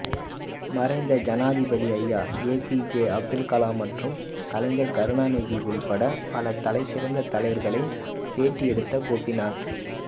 மறைந்த ஜனாதிபதி ஐயா ஏபிஜே அப்துல்கலாம் மற்றும் கலைஞர் கருணாநிதி உட்பட பல தலைச்சிறந்த தலைவர்களை பேட்டி எடுத்த கோபிநாத்